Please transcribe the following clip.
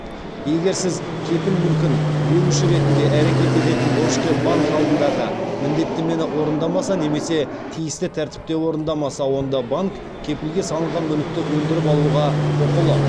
егер сіз кепіл мүлкін беруші ретінде әрекет ететін борышкер банк алдындағы міндеттемені орындамаса немесе тиісті тәртіпте орындамаса онда банк кепілге салынған мүлікті өндіріп алуға құқылы